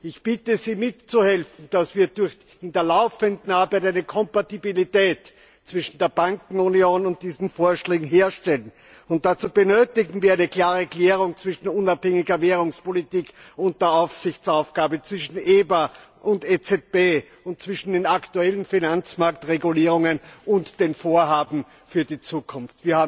Ich bitte Sie mitzuhelfen, dass wir in der laufenden Arbeit eine Kompatibilität zwischen der Bankenunion und diesen Vorschlägen herstellen. Dazu benötigen wir eine klare Klärung zwischen unabhängiger Währungspolitik und der Aufsichtsaufgabe, zwischen EBA und EZB und zwischen den aktuellen Finanzmarktregulierungen und den Vorhaben für die Zukunft.